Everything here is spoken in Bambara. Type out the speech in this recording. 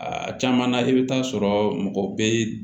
A caman na i bɛ taa sɔrɔ mɔgɔ bɛ